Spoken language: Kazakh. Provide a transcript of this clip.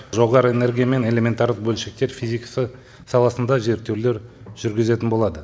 жоғары энергия мен элементарлық бөлшектер физикасы саласында зерттеулер жүргізетін болады